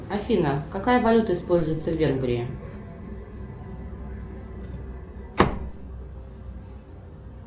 афина какая валюта используется в венгрии